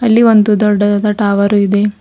ಇಲ್ಲಿ ಒಂದು ದೊಡ್ಡದಾದ ಟವರ್ ಇದೆ.